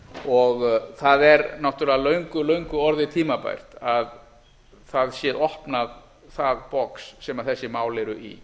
og það er náttúrlega löngu löngu orðið tímabært að það sé opnað það box sem þessi mál eru í